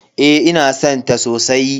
Eh ina san ta sosai.